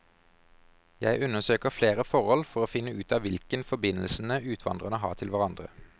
Jeg undersøker flere forhold for å finne ut av hvilken forbindelsene utvandrerne har til hverandre.